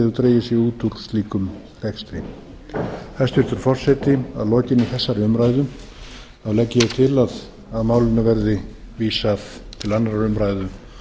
dregið sig út úr slíkum rekstri hæstvirtur forseti að lokinni þessari umræðu legg ég til að málinu veðri vísað til annarrar umræðu